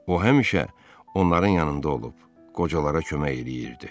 O həmişə onların yanında olub, qocalara kömək eləyirdi.